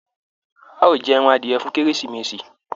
A o jẹ ẹran adiẹ fún kérésìmesì.